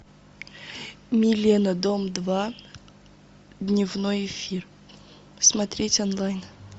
милена дом два дневной эфир смотреть онлайн